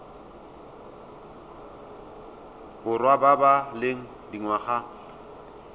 borwa ba ba leng dingwaga